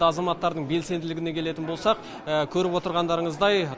азаматтардың белсенділігіне келетін болсақ көріп отырғандарыңыздай